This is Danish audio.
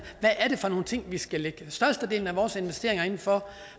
for nogle ting vi skal lægge størstedelen af vores investeringer inden for